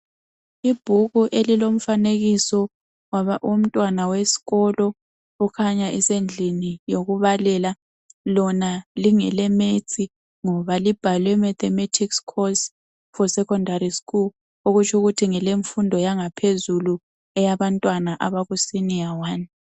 Ibhuku elilomfanekiso womntwana wesikolo okhanya esendlini yokubalela, lona lingeleMaths ngoba libhalwe Mathematics course for secondary school okutsho ukuthi ngelemfundo yangaphezulu eyabantwana abakusenior one.